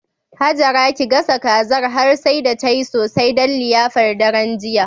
Hajara ki gasa kazar har sai da tayi sosai don liyafar daren jiya.